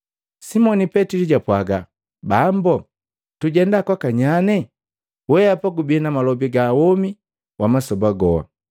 Simoni Petili japwaga, “Bambo, tujenda kwaka nyanye? Weapa gubi na malobi ga womi wa masoba goha.